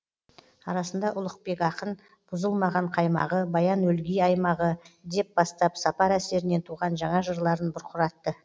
арасында ұлықбек ақын бұзылмаған қаймағы баян өлгий аймағы деп бастап сапар әсерінен туған жаңа жырларын бұрқыратты